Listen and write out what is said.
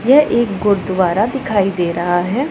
यह एक गुरुद्वारा दिखाई दे रहा है।